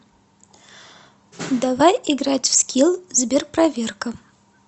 давай играть в скилл сберпроверка